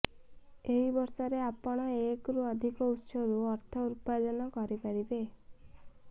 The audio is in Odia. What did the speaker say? ଏହି ବର୍ଷରେ ଆପଣ ଏକରୁ ଅଧିକ ଉତ୍ସରୁ ଅର୍ଥ ଉର୍ପାଜନ କରିପାରିବେ